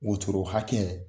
Wotoro hakɛ